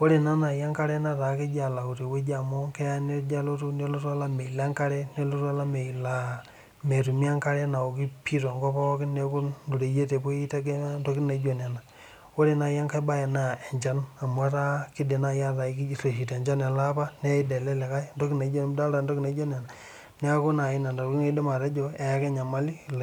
ore naa nayii enkare netaa ketoki alauu teweji amu keja alotu nelotu olameyu lenkare nelotu olameyu laa metumi enkare naokii pii tenkop pookin neeku oreyiet epuoi aitegemea intokitin naijo nena oree nayii enkae baee naa enchan amuu etaa keidim nayii ataa utesha enchan tele apaa naid ele likae idoolta entoki naijo nena neeku nayii entoki naidim atejo eeka enyamali.